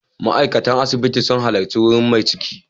Ma'aikatan asibiti sun halarci wurin mai ciki.